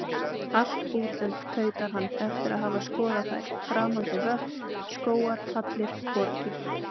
Allt útlönd, tautar hann eftir að hafa skoðað þær, framandi vötn, skógar, hallir, borgir.